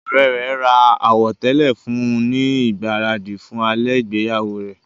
Ọ̀rẹ́ rẹ̀ ra àwọ̀tẹ́lẹ̀ fún un ní ìgbáradì fún alẹ́ ìgbéyàwó rẹ.